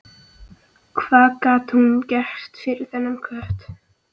Hvað gat hún gert fyrir þennan kött?